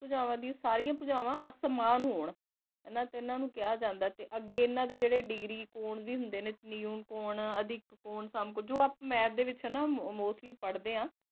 ਭੁਜਾਵਾਂ ਡਿਯਨ ਸਰਿਯਾਂ ਭੁਜਾਵਾਂ ਅਸਮਾਨ ਹੋਣ ਤੇ ਓਨਾਂ ਨੂ ਕਹਯ ਜਾਂਦਾ ਆਯ ਤੇ ਅਗੇ ਇਨਾਂ ਦੇ ਜੇਰੇ ਡੀਗਰੀ ਵੀ ਹੁੰਦੇ ਨੇ ਨੁਕ ਕੋੰ ਆਦਿਕ ਕੋੰ ਜੋ ਆਪਾਂ ਮੈਥ ਦੇ ਵਿਚ ਨਾ ਮੋਸ੍ਤ੍ਲ੍ਯ ਪਾਰ੍ਹ੍ਡੇ ਆਂ